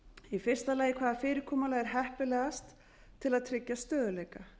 í fyrsta lagi hvaða fyrirkomulag er heppilegast til að tryggja stöðugleika